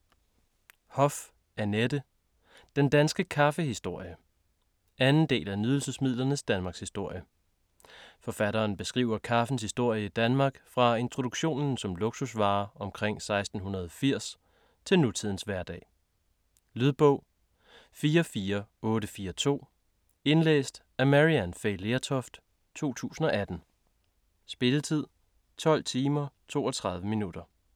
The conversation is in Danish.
Hoff, Annette: Den danske kaffehistorie 2. del af Nydelsesmidlernes Danmarkshistorie. Forfatteren beskriver kaffens historie i Danmark fra introduktionen som luksusvare omkring 1680 til nutidens hverdag. Lydbog 44842 Indlæst af Maryann Fay Lertoft, 2018. Spilletid: 12 timer, 32 minutter.